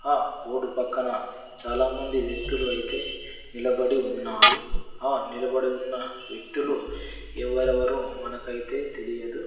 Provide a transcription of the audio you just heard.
ఆ రోడ్డు పక్కన చాలామంది వ్యక్తులు అయితే నిలబడి ఉన్నారు ఆ నిలబడి ఉన్న వ్యక్తులు ఎవరెవరో మనకైతే తెలియదు.